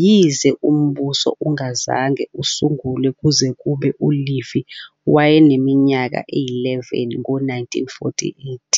yize uMbuso ungazange usungulwe kuze kube uLevy wayeneminyaka eyi-11, ngo-1948.